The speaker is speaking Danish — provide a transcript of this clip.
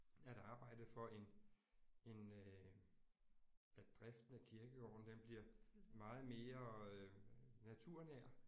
At arbejde for en en øh at driften af kirkegården den bliver meget mere naturnær